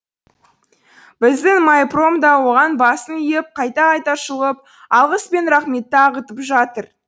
біздің майпром да оған басын иіп қайта қайта шұлғып алғыс пен рахметті ағытып жатыр